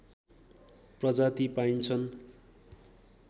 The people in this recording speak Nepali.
प्रजाति पाइन्छन्